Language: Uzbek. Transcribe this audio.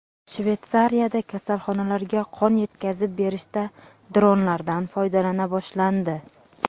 Shveysariyada kasalxonalarga qon yetkazib berishda dronlardan foydalana boshlandi.